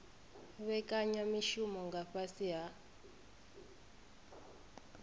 vhekanya mishumo nga fhasi ha